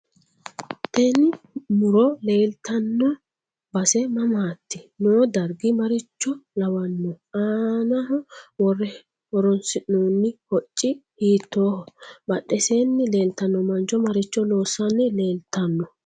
Teni muro leetano base mamaati noo dargi maricho lawanohe aanaho worre horoonsinoono hucci hiitoho badheseeni leeltano mancho maricho loosani leeltano